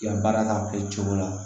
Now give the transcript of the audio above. I ka baara kan ka kɛ cogo la